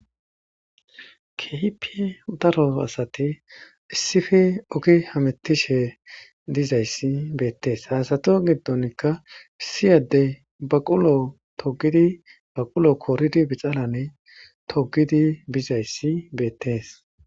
Kehipie daro asate issife oki hametishe dizayssi beettees haasato giddonkka issiyadde baqulo togidi baqulo kooridi bixalane togidi bizayssi beettees